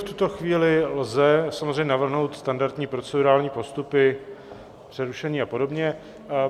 V tuto chvíli lze samozřejmě navrhnout standardní procedurální postupy, přerušení a podobně.